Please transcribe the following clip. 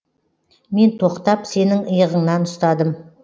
мен тоқтап сенің иығыңнан ұстадым